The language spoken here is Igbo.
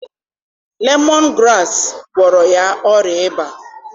Lemọn graasị gwọrọ ya ọrịa ịba.